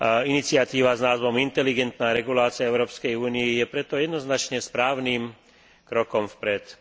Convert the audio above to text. Iniciatíva s názvom inteligentná regulácia v Európskej únii je preto jednoznačne správnym krokom vpred.